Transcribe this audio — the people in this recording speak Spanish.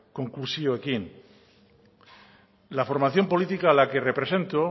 konklusioekin la formación política a la que represento